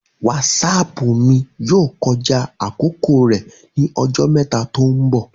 Wásáápu mi yoo kọja akoko rẹ ni ọjọ mẹta to nbọ